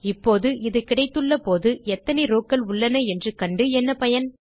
இப்போது இது கிடைத்துள்ள போது எத்தனை ரவ்ஸ் உள்ளன என்று கண்டு என்ன பயன்